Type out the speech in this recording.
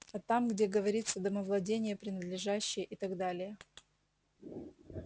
а там где говорится домовладение принадлежащее и так далее